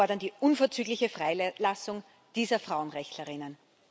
Wir fordern die unverzügliche Freilassung dieser Frauenrechtlerinnen.